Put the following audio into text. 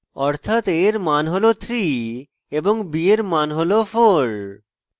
অর্থাৎ a এর মান হল 3 এবং b এর মান হল 4